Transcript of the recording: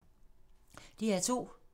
DR P2